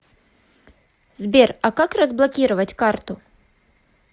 сбер а как разблокировать карту